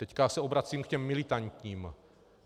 Teď se obracím k těm militantním.